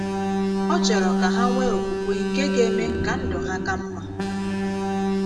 Ọ chọ̀rọ̀ ka ha nweé okwukwe nke ga - eme ka ndụ̀ ha ka mma.